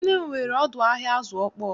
Nne m nwere ọdụ ahịa azụ ọkpọọ